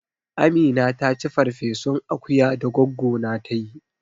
Amina taci ferfesun akuya da goggo na ta yi